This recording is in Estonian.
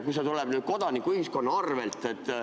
See tuleb nüüd kodanikuühiskonna arvel.